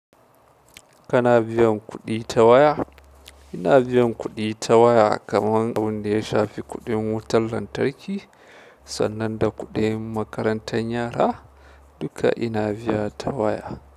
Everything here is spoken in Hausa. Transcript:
Kana biyan kuɗi ta waya? Ina biyan kuɗi ta waya kamar abinda ya shafi kuɗin wutar lantarki sannan da kuɗin makaranta yara dukka ina biya ta waya.